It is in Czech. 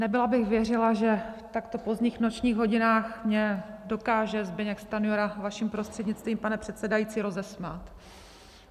Nebyla bych věřila, že v takto pozdních nočních hodinách mě dokáže Zbyněk Stanjura vaším prostřednictvím, pane předsedající, rozesmát.